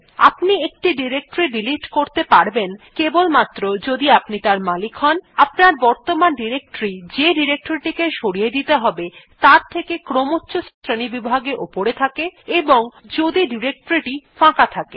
আপনি একটি directory delete করতে পারবেন কেবলমাত্র যদি আপনি তার মালিক হন আপনার বর্তমান ডিরেক্টরী যে ডিরেক্টরী টি সরিয়ে দিতে হবে তার থেকে ক্রমচ্ছ শ্রেণীবিভাগে উপরে থাকে এবং যদি ডিরেক্টরী টি ফাঁকা থাকে